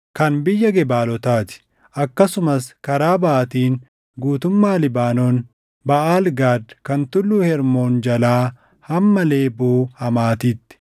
kan biyya Gebaalotaa ti; akkasumas karaa baʼaatiin guutummaa Libaanoon, Baʼaal Gaad kan Tulluu Hermoon jalaa hamma Leeboo Hamaatitti.